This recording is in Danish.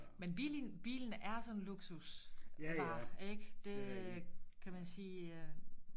Men bil bilen er sådan en luksusvare ikke det kan man sige øh